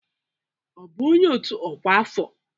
Ọ bụ onye otu ọkwa afọ?